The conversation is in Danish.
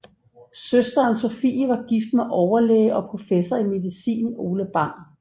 Søsteren Sophie var gift med overlæge og professor i medicin Ole Bang